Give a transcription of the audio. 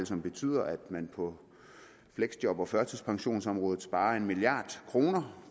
som betyder at man på fleksjob og førtidspensionsområdet sparer en milliard kroner